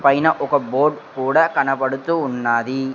పైన ఒక బోర్డ్ కూడా కనబడుతూ ఉన్నాది.